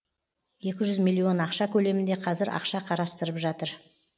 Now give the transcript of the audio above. екі жүз миллион ақша көлемінде қазір ақша қарастырып жатыр